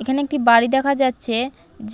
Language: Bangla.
এখানে একটি বাড়ি দেখা যাচ্ছে